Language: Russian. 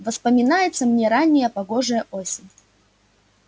воспоминается мне ранняя погожая осень